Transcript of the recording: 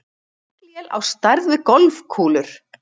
Haglél á stærð við golfkúlur